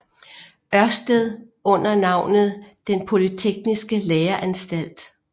Ørsted under navnet Den Polytekniske Læreanstalt